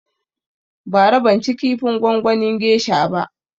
Bara ban ci kifin gongonin gesha ba